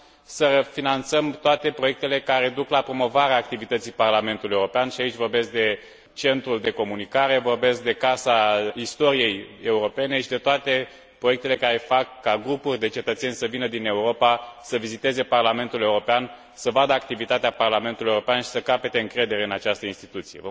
să finanțăm toate proiectele care duc la promovarea activității Parlamentului European și aici vorbesc de Centrul de comunicare, vorbesc de Casa Istoriei Europene și de toate proiectele care fac ca grupuri de cetățeni să vină din Europa să viziteze Parlamentul European, să vadă activitatea Parlamentului European și să capete încredere în această instituție.